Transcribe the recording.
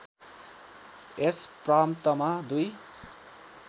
यस प्रान्तमा दुई